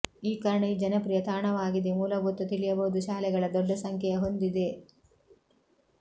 ಈ ಕಾರಣ ಈ ಜನಪ್ರಿಯ ತಾಣವಾಗಿದೆ ಮೂಲಭೂತ ತಿಳಿಯಬಹುದು ಶಾಲೆಗಳ ದೊಡ್ಡ ಸಂಖ್ಯೆಯ ಹೊಂದಿದೆ